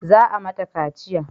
Za a mata kaciya